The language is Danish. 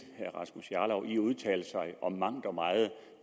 herre rasmus jarlov i at udtale sig om mangt og meget